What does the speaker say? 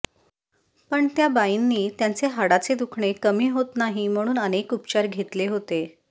पण त्या बाईंनी त्यांचे हाडांचे दुखणे कमी होत नाही म्हणून अनेक उपचार घेतले होते